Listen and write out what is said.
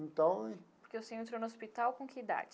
Então... Porque o senhor entrou no hospital com que idade?